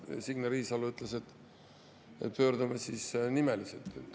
Signe Riisalo ütles, et pöördume siis nimeliselt.